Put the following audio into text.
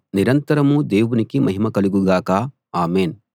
నిరంతరమూ దేవునికి మహిమ కలుగు గాక ఆమేన్‌